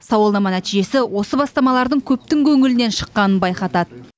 сауалнама нәтижесі осы бастамалардың көптің көңілінен шыққанын байқатады